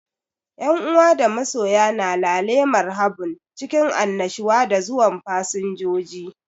Yan uwa da masoya na lale marhabun cikin annushuwa da zuwan fasinjoji.